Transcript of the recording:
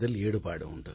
ஈடுபாடு உண்டு